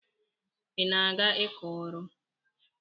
Ị na-aga ịkọ ọrụ?